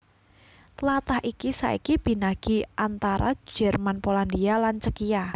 Tlatah iki saiki binagi antara Jerman Polandia lan Cékia